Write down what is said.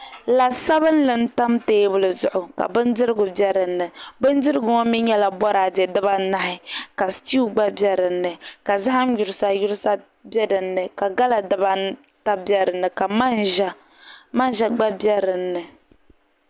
La sabinli n tam teebuli zuɣu ka bindirigu bɛ dinni bindirigu ŋo mii nyɛla boraadɛ dibanahi ka sitiw gba bɛ dinni ka zaham yurisa yurisa bɛ dinni ka gala dibata bɛ dinni ka manʒa gba bɛ dinni